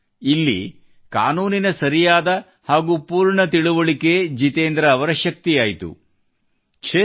ಅಂದರೆ ಇಲ್ಲಿ ಕಾನೂನಿನ ಸರಿಯಾದ ಹಾಗೂ ಪೂರ್ತಿ ತಿಳುವಳಿಕೆ ಇಲ್ಲಿ ಜಿತೇಂದ್ರ ಅವರ ಶಕ್ತಿಯಾಯಿತು